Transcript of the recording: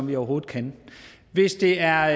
vi overhovedet kan hvis det er